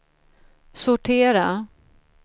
sortera